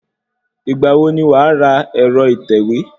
Ìgbà wo ni wàá ra ẹ̀rọ ìtẹ̀wé?